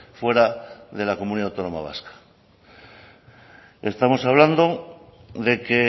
fuera de la comunidad autónoma vasca estamos hablando de que